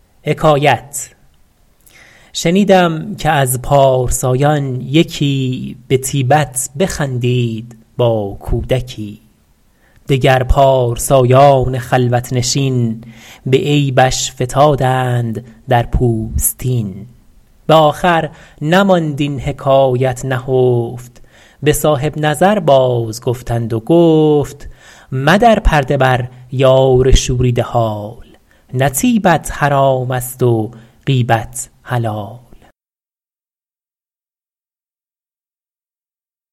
شنیدم که از پارسایان یکی به طیبت بخندید با کودکی دگر پارسایان خلوت نشین به عیبش فتادند در پوستین به آخر نماند این حکایت نهفت به صاحب نظر باز گفتند و گفت مدر پرده بر یار شوریده حال نه طیبت حرام است و غیبت حلال